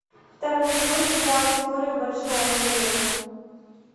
второй сезон сериала теория большого взрыва